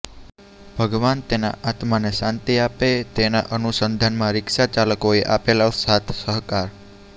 ભગવાન તેના આત્માને શાંતી આપે તેના અનુસંધાનમા રીક્ષા ચાલકોએ આપેલો સાથ સહકાર